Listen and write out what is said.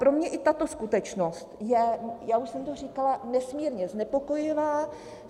Pro mě i tato skutečnost je - já už jsem to říkala - nesmírně znepokojivá.